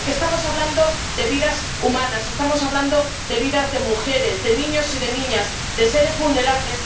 Porque estamos hablando de vidas humanas, estamos hablando de vidas de mujeres, de niños y de niñas, de seres vulnerables.